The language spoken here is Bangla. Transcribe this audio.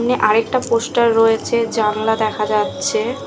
আর একটা পোস্টার রয়েছে জানলা দেখা যাচ্ছে ।